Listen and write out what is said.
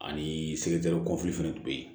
Ani fɛnɛ tun be yen